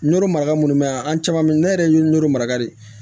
Nɔrɔ maraga munnu be yan an caman be ye ne yɛrɛ ye ɲoro mara de